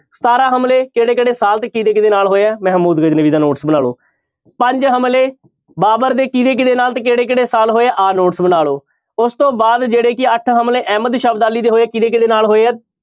ਸਤਾਰਾਂ ਹਮਲੇ ਕਿਹੜੇ ਕਿਹੜੇ ਸਾਲ ਤੇ ਕਿਹਦੇ ਕਿਹਦੇ ਨਾਲ ਹੋਏ ਹੈ ਮਹਿਮੂਦ ਗਜਨਵੀ ਦਾ notes ਬਣਾ ਲਓ, ਪੰਜ ਹਮਲੇ ਬਾਬਰ ਦੇ ਕਿਹਦੇ ਕਿਹਦੇ ਨਾਲ ਤੇ ਕਿਹੜੇ ਕਿਹੜੇ ਸਾਲ ਹੋਏ ਆ ਆਹ notes ਬਣਾ ਲਓ, ਉਸ ਤੋਂ ਬਾਅਦ ਜਿਹੜੇ ਕਿ ਅੱਠ ਹਮਲੇ ਅਹਿਮਦ ਸ਼ਾਹ ਅਬਦਾਲੀ ਦੇ ਹੋਏ ਆ ਕਿਹਦੇ ਕਿਹਦੇ ਨਾਲ ਹੋਏ ਆ